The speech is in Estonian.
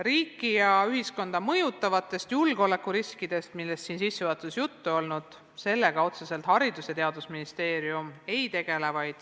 Riiki ja ühiskonda mõjutavate julgeolekuriskidega, millest siin sissejuhatuses juttu oli, otseselt Haridus- ja Teadusministeerium ei tegele.